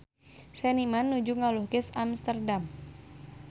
Seniman nuju ngalukis Amsterdam